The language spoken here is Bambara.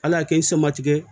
Ala y'a kɛ i sama tigɛ